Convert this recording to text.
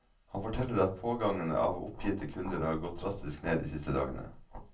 Han forteller at pågangen av oppgitte kunder har gått drastisk ned de siste dagene.